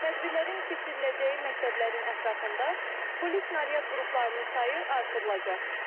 Tədbirlərin keçiriləcəyi məktəblərin ətrafında polis naryad qruplarının sayı artırılacaq.